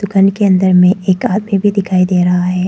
दुकान के अंदर में एक आदमी भी दिखाई दे रहा है।